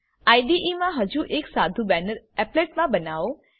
IDE મા હજુ એક સાધુ બેનર એપ્લેટ મા બનાવો